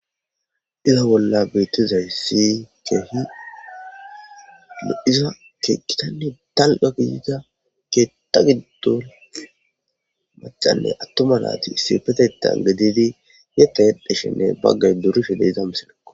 Iza bolla beeththizayssi keehi lo7iza keeththathanne daro qa guyeera keeththa giddon maccanne aththuma naathi issippetheththan gididi yeththa yexxishenne baggay durishe be7iza misilekko.